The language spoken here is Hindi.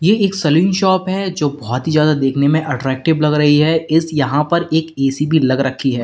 ये एक सैलून शॉप है जो बहुत ही ज्यादा देखने में अट्रैक्टिव लग रही है इस यहां पर एक ए_सी लगा रखी है।